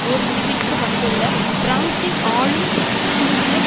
ஓர் முடிவிற்கு வந்துள்ள பிரான்சின் ஆளும் குழுவினர்